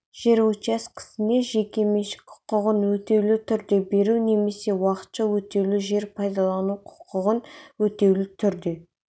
жер учаскесіне жеке меншік құқығын өтеулі түрде беру немесе уақытша өтеулі жер пайдалану құқығын өтеулі түрде